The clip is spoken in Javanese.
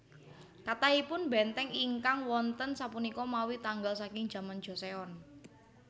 Kathahipun bèntèng ingkang wonten sapunika mawi tanggal saking jaman Joseon